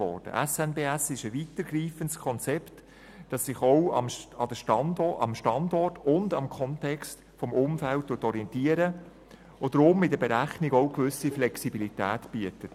Der SNBS ist ein weitergreifendes Konzept, das sich auch am Standort und am Kontext des Umfelds orientiert und deshalb in der Berechnung auch eine gewisse Flexibilität bietet.